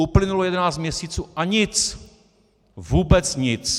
Uplynulo 11 měsíců, a nic, vůbec nic.